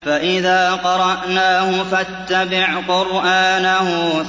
فَإِذَا قَرَأْنَاهُ فَاتَّبِعْ قُرْآنَهُ